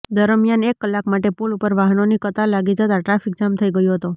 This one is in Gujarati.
દરમિયાન એક કલાક માટે પુલ ઉપર વાહનોની કતાર લાગી જતા ટ્રાફિકજામ થઈ ગયો હતો